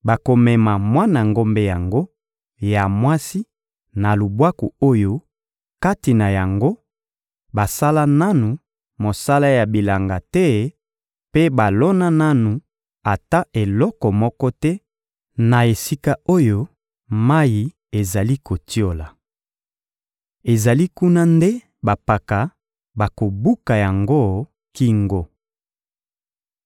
bakomema mwana ngombe yango ya mwasi na lubwaku oyo, kati na yango, basala nanu mosala ya bilanga te mpe balona nanu ata eloko moko te, na esika oyo mayi ezali kotiola. Ezali kuna nde bampaka bakobuka yango kingo.